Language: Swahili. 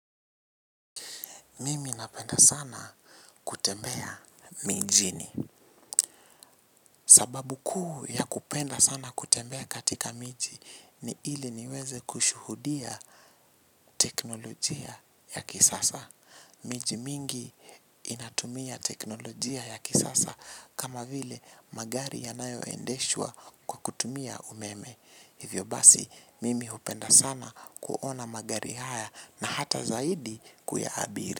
Mimi napenda sana kutembea mijini. Sababu kuu ya kupenda sana kutembea katika miji ni ili niweze kushuhudia teknolojia ya kisasa. Miji mingi inatumia teknolojia ya kisasa kama vile magari yanayoendeshwa kwa kutumia umeme. Hivyo basi, mimi hupenda sana kuona magari haya na hata zaidi kuyaabiri.